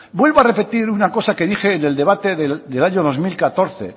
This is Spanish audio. vuelvo a repetir una cosa que dije en el debate del año dos mil catorce